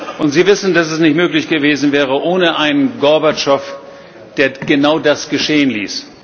Und Sie wissen, dass es nicht möglich gewesen wäre ohne einen Gorbatschow, der genau das geschehen ließ.